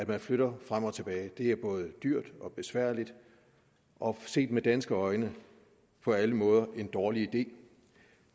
man flytter frem og tilbage på det er både dyrt og besværligt og set med danske øjne på alle måder en dårlig idé